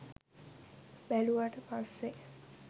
බැලුවාට පස්සේ